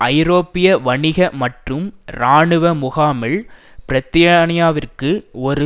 ஐரோப்பிய வணிக மற்றும் இராணுவ முகாமில் பிரத்தியானியாவிற்கு ஒரு